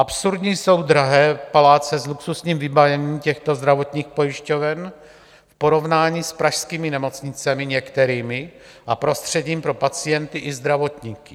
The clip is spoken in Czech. Absurdní jsou drahé paláce s luxusním vybavením těchto zdravotních pojišťoven v porovnání s pražskými nemocnicemi některými a prostředím pro pacienty i zdravotníky.